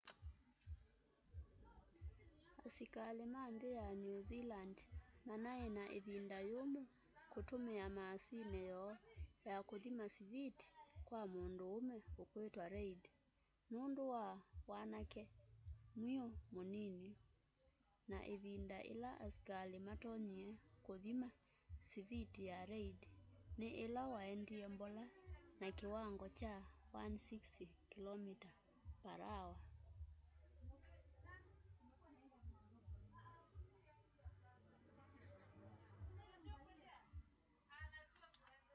asikali ma nthi ya new zealand manai na ivinda yumu kutumia maasini yoo ya kuthima siviti kwa munduume ukwitwa reid nundu wa wanake mwiu munini na ivinda ila asikali matonyie kuthima siviti ya reid ni ila waendie mbola na kiwango kya 160km/h